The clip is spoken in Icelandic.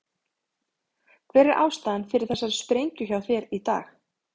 Hver er ástæðan fyrir þessari sprengju hjá þér í dag?